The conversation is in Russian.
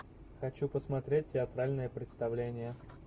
хочу посмотреть театральное представление